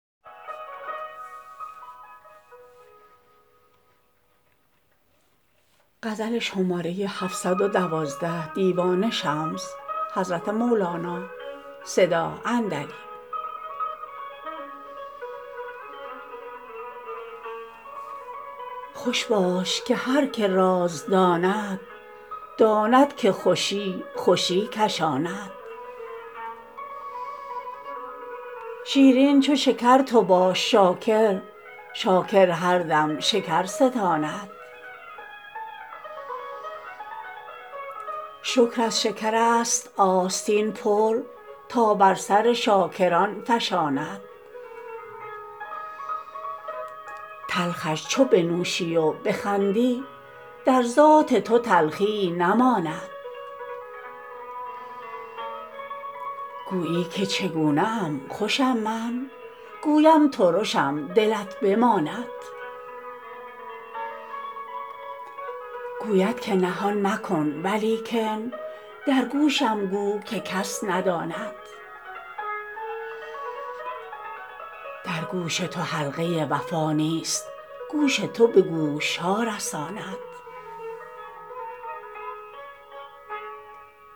خوش باش که هر که راز داند داند که خوشی خوشی کشاند شیرین چو شکر تو باش شاکر شاکر هر دم شکر ستاند شکر از شکرست آستین پر تا بر سر شاکران فشاند تلخش چو بنوشی و بخندی در ذات تو تلخیی نماند گویی که چگونه ام خوشم من گویم ترشم دلت بماند گوید که نهان مکن ولیکن در گوشم گو که کس نداند در گوش تو حلقه وفا نیست گوش تو به گوش ها رساند